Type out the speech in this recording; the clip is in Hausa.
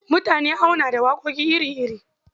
Mutane auna da waƙoƙi iri-iri.